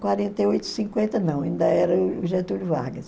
quarenta e oito, cinquenta não, ainda era o Getúlio Vargas.